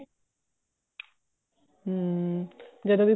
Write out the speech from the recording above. ਹਮ ਜਦੋਂ ਵੀ